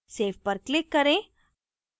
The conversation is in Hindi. save पर click करें